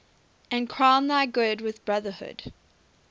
and crown thy good with brotherhood